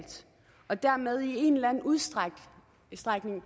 og dermed i en eller anden udstrækning